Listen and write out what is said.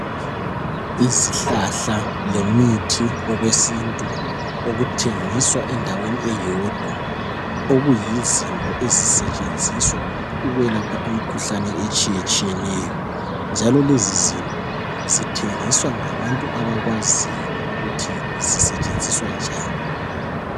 Izihlahla lemithi okwesintu okuthengiswa endaweni eyodwa, okuyizinto ezisetshenziswa ukwelapha imkhuhlane etshiyetshiyeneyo, njalo lezizinto zithengiswa ngabantu abakwaziyo ukuthi zisetshenziswa njani.